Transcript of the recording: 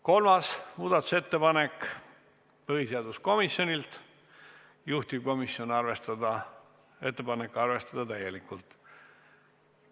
Kolmas muudatusettepanek, põhiseaduskomisjonilt, juhtivkomisjoni ettepanek: arvestada täielikult.